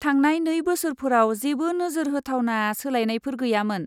थांनाय नै बोसोरफोराव जेबो नोजोर होथावना सोलायनायफोर गैयामोन।